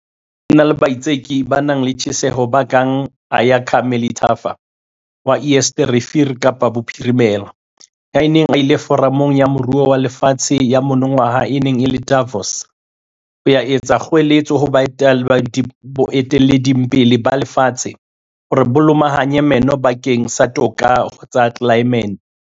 Ho na le baitseki ba nang le tjheseho ba kang Ayakha Melithafa wa Eerste Rivier Kapa Bophirimela, ya neng a ile Foramong ya Moruo wa Lefatshe ya monongwaha e neng e le Davos, ho ya etsa kgoeletso baetapeleng ba lefatshe hore ba lomahanye meno bakeng sa toka ho tsa tlelaemete.